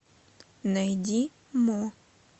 найди мо